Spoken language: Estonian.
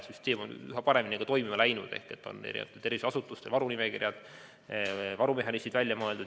Süsteem on üha paremini toimima hakanud, tervishoiuasutustel on olemas varunimekirjad ja välja on mõeldud varumehhanismid.